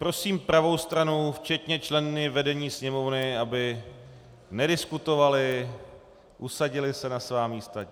Prosím pravou stranu včetně členů vedení Sněmovny, aby nediskutovali, usadili se na svá místa.